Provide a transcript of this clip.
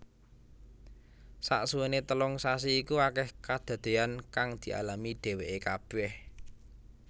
Saksuwéné telung sasi iku akèh kedadéyan kang dialami dhèwèké kabèh